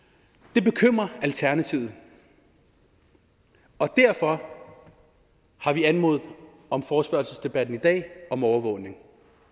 det bekymrer alternativet og derfor har vi anmodet om forespørgselsdebatten i dag og om overvågning